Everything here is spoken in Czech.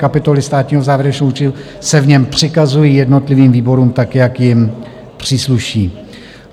Kapitoly státního závěrečného účtu se v něm přikazují jednotlivým výborům, tak jak jim přísluší.